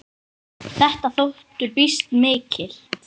Þetta þóttu býsn mikil.